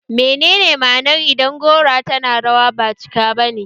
Meye ma'anar idan gora tana rawa ba cika ne ba?